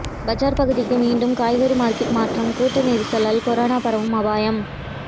பஜார் பகுதிக்கு மீண்டும் காய்கறி மார்க்கெட் மாற்றம் கூட்ட நெரிசலால் கொரோனா பரவும் அபாயம்